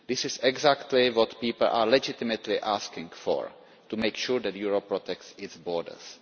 This is exactly what people are legitimately asking for to make sure that Europe protects its borders.